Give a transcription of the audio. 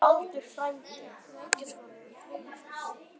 Baldur frændi.